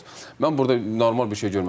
Mən burda normal bir şey görməmişəm.